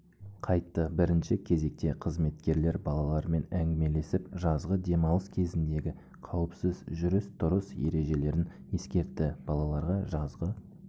қайтты бірінші кезекте қызметкерлер балалармен әңгімелесіп жазғы демалыс кезіндегі қауіпсіз жүріс-тұрыс ережелерін ескертті балаларға жазғы